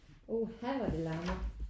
Uha da det larmer